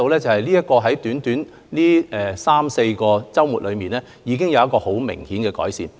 在過去短短的三四個周末之間，我們已看到情況明顯改善。